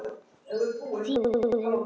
Þinn, Óðinn.